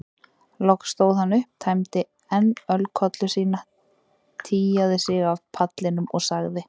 Loks stóð hann upp, tæmdi enn ölkollu sína, tygjaði sig af pallinum og sagði